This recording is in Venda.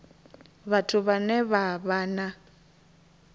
vhathu vhane vha vha na